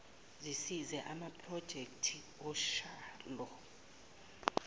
zisize amaprojekthi otshalo